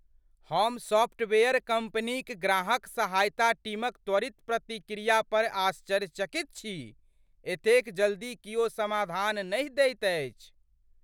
हम सॉफ्टवेयर कम्पनीक ग्राहक सहायता टीमक त्वरित प्रतिक्रिया पर आश्चर्यचकित छी। एतेक जल्दी कियो समाधान नहि दैत अछि।